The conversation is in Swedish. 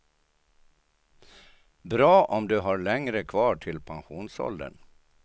Bra om du har längre kvar till pensionsåldern.